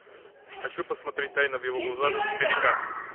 хочу посмотреть тайна в его глазах четыре к